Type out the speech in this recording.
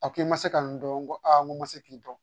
A ko i ma se ka n dɔn n ko aa n ko n ma se k'i dɔn